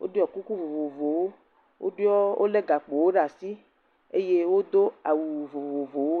Woɖɔ kuku vovovowo. Woɖɔ wo le gakpowo ɖe asi eye wodo awu vovovowo le.